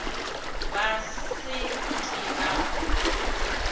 ba se ke ba mo